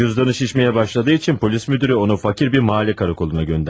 Cüdanı şişməyə başladığı üçün polis müdürü onu fakir bir mahal karakoluna göndərdi.